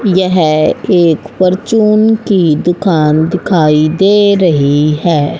यह एक परचून की दुकान दिखाई दे रही है।